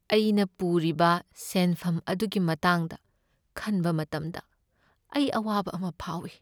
ꯑꯩꯅ ꯄꯨꯔꯤꯕ ꯁꯦꯟꯐꯝ ꯑꯗꯨꯒꯤ ꯃꯇꯥꯡꯗ ꯈꯟꯕ ꯃꯇꯝꯗ ꯑꯩ ꯑꯋꯥꯕ ꯑꯃ ꯐꯥꯎꯏ꯫